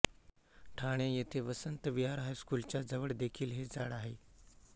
ठाणे येथे वसंत विहार हायस्कूलच्या जवळ देखील हे झाड आहे